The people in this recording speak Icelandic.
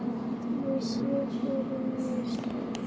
Ég sé fyrir mér stór